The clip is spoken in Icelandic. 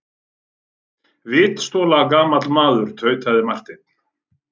Vitstola gamli maður, tautaði Marteinn.